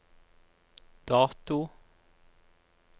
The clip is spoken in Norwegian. dato